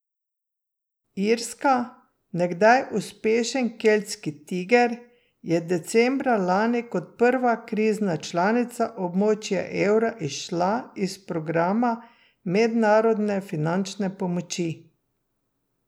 Irska, nekdaj uspešen keltski tiger, je decembra lani kot prva krizna članica območja evra izšla iz programa mednarodne finančne pomoči.